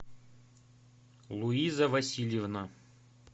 луиза васильевна